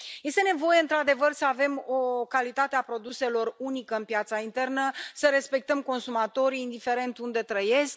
Este nevoie, într adevăr, să avem o calitate a produselor unică în piața internă, să respectăm consumatorii, indiferent unde trăiesc.